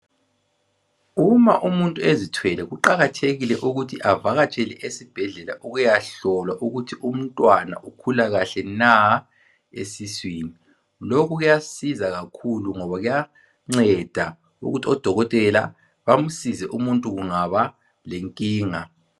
Uma umuntu ezithwele, kuqakathekile ukuthi avakatshele esibhedlela. Ukuyahlolwa ukuthi umntwana ukhula kahle na esiswini. Lokhu kuyasiza kakhulu, ngoba kuyanceda ukuthi odokotela bamsize umuntu kungaba kenkinga.